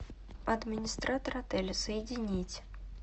администратор отеля соединить